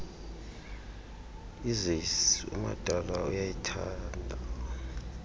essays umadala uyayithanda